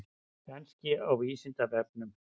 Kannski á Vísindavefnum?